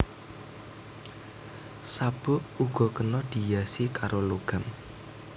Sabuk uga kena dihiasi karo logam